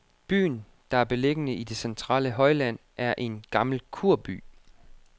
Byen, der er beliggende i det centrale højland, er en gammel kurby.